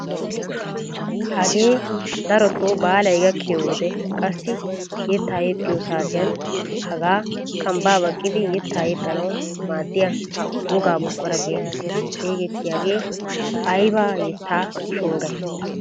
Hagee darotoo baalay gakkiyoo wode qassi yettaa yexxiyoo saatiyaan hagaa kambbaa baqqiidi yettaa yexxanawu maaddiya wogaa buquraa getetti xegettiyaage ayba yettaa shonggayi!